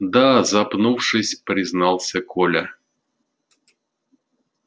да запнувшись признался коля